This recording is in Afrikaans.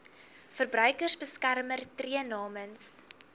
verbruikersbeskermer tree namens